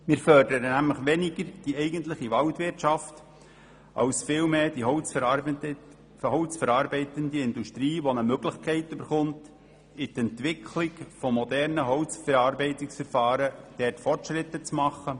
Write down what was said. Wir fördern damit weniger die eigentliche Waldwirtschaft als vielmehr die holzverarbeitende Industrie, die eine Möglichkeit erhält, in der Entwicklung moderner Holzverarbeitungsverfahren Fortschritte zu machen.